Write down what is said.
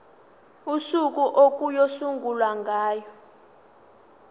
usuku okuyosungulwa ngalo